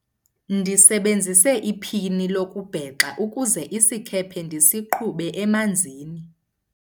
ndisebenzise iphini lokubhexa ukuze isikhephe ndisiqhube emanzini